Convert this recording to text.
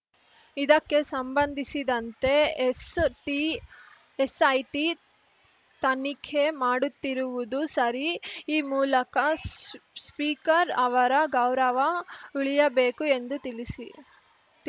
ಇದಕ್ಕೆ ಸಂಬಂಧಿಸಿದಂತೆ S T SIT ತನಿಖೆ ಮಾಡುತ್ತಿರುವುದು ಸರಿ ಈ ಮೂಲಕ ಸ್ಸ್ ಸ್ಪೀಕರ್‌ ಅವರ ಗೌರವ ಉಳಿಯಬೇಕು ಎಂದು ತಿಳಿಸಿ